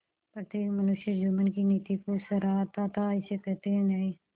प्रत्येक मनुष्य जुम्मन की नीति को सराहता थाइसे कहते हैं न्याय